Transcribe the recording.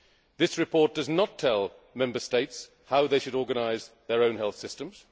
This report does not tell Member States how they should organise their own health systems.